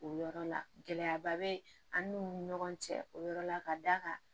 O yɔrɔ la gɛlɛyaba bɛ an n'u ni ɲɔgɔn cɛ o yɔrɔ la ka d'a kan